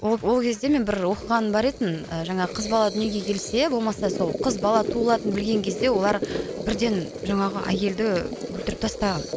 ол ол кезде мен бір оқығаным бар еді тін жаңағы қыз бала дүниеге келсе болмаса сол қыз бала туылатынын білген кезде олар бірден жаңағы әйелді өлтіріп тастаған